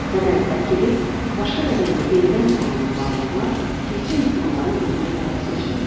Bədəni tərk edib başqa bədəndə yenidən canlanan varlıqlar təkcə insanları özünə hədəf seçmir.